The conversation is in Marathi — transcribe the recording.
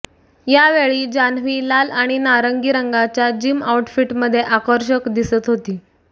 यावेळी जान्हवी लाल आणि नारंगी रंगाच्या जिम आउटफिटमध्ये आकर्षक दिसत होती